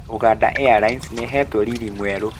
Ugandan airlines nĩihetwo riri mwerũ